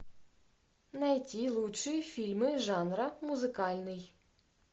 найди лучшие фильмы жанра музыкальный